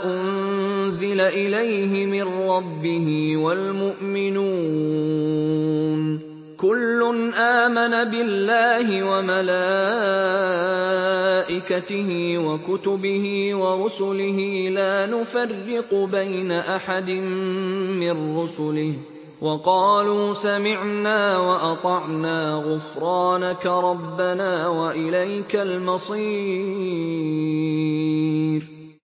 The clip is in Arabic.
أُنزِلَ إِلَيْهِ مِن رَّبِّهِ وَالْمُؤْمِنُونَ ۚ كُلٌّ آمَنَ بِاللَّهِ وَمَلَائِكَتِهِ وَكُتُبِهِ وَرُسُلِهِ لَا نُفَرِّقُ بَيْنَ أَحَدٍ مِّن رُّسُلِهِ ۚ وَقَالُوا سَمِعْنَا وَأَطَعْنَا ۖ غُفْرَانَكَ رَبَّنَا وَإِلَيْكَ الْمَصِيرُ